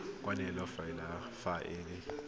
kwa ntle fela fa e